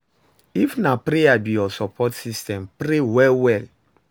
if na prayer be yur sopport system, pray well well